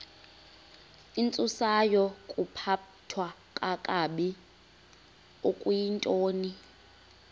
intsusayokuphathwa kakabi okuyintoni